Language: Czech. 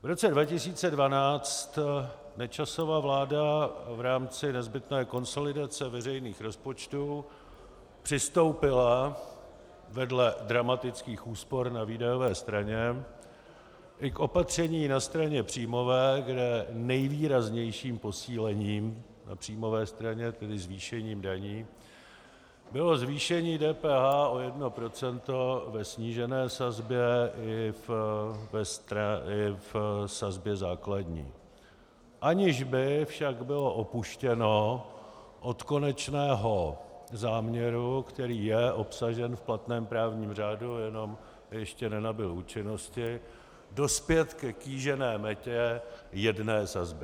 V roce 2012 Nečasova vláda v rámci nezbytné konsolidace veřejných rozpočtů přistoupila vedle dramatických úspor na výdajové straně i k opatření na straně příjmové, kde nejvýraznějším posílením na příjmové straně, tedy zvýšením daní, bylo zvýšení DPH o 1 % ve snížené sazbě i v sazbě základní, aniž by však bylo upuštěno od konečného závěru, který je obsažen v platném právním řádu, jenom ještě nenabyl účinnosti, dospět ke kýžené metě jedné sazby.